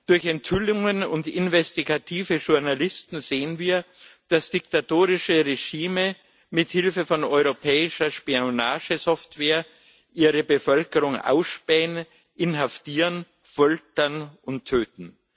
Durch Enthüllungen und investigative Journalisten sehen wir, dass diktatorische Regime mit Hilfe von europäischer Spionagesoftware ihre Bevölkerung ausspähen, inhaftieren, foltern und töten.